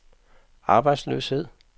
arbejdsløshed